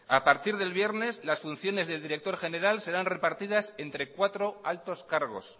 a partir del viernes las funciones de director general serán repartidas entre cuatro altos cargos